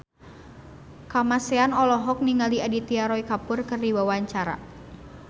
Kamasean olohok ningali Aditya Roy Kapoor keur diwawancara